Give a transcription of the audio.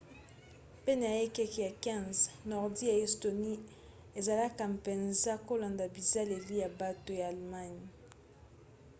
pene ya ekeke ya 15 nordi ya estonie ezalaki mpenza kolanda bizaleli ya bato ya allemagne